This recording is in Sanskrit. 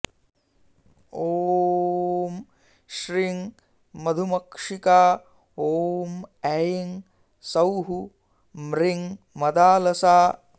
ॐ श्रीं मधुमक्षिका ॐ ऐं सौः म्रीं मदालसा